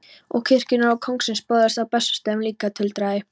Og kirkjunnar og kóngsins böðuls á Bessastöðum líka, tuldraði